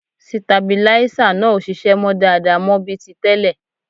Sitabilíísà náà ò ṣiṣẹ́ mọ́ dáadáa mọ́ bí ti tẹ́lẹ̀